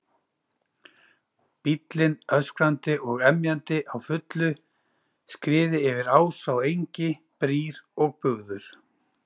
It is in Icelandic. Bíllinn öskrandi og emjandi á fullu skriði yfir ása og engi, brýr og bugður.